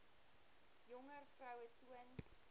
jonger vroue toon